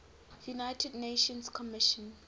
united nations commission